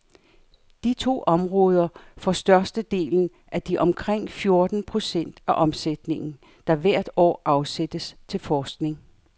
De to områder får størstedelen af de omkring fjorten procent af omsætningen, der hvert år afsættes til forskning.